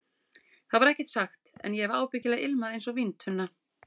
Það var ekkert sagt, en ég hef ábyggilega ilmað einsog víntunna.